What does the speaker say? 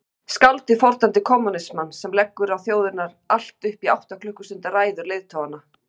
Skáldið fordæmdi kommúnismann sem leggur á þjóðirnar allt upp í átta klukkustunda ræður leiðtoganna.